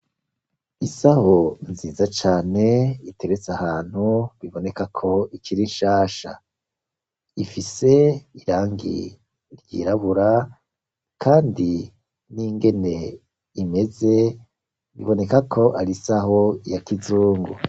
Isaho nziza cane iteretse ahantu biboneka ko ikiri nshasha ,ifise irangi ryirabura kandi n'ingene imeze biboneka ko ari isaho ya kizungu.